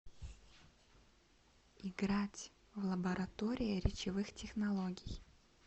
играть в лаборатория речевых технологий